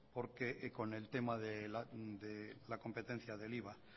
con el tema de la competencia del iva